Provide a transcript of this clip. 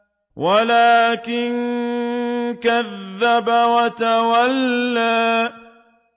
وَلَٰكِن كَذَّبَ وَتَوَلَّىٰ